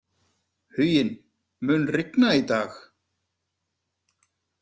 Huginn, mun rigna í dag?